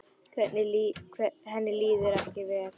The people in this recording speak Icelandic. Henni líður ekki vel.